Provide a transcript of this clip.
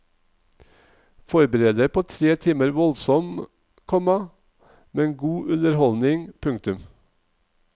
Forbered deg på tre timer voldsom, komma men god underholdning. punktum